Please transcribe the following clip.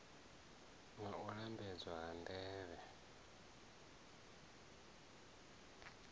na u lambedzwa ha mitevhe